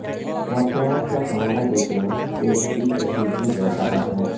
واقعات کا حوالہ دیتے وقت پیشگی کشیدگی زیادہ عام ہے